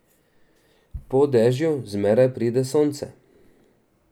Po dežju zmeraj pride sonce.